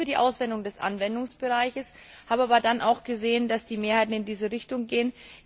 Ich war nicht für die Ausweitung des Anwendungsbereichs, habe aber dann gesehen, dass die Mehrheit in diese Richtung geht.